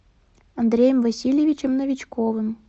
андреем васильевичем новичковым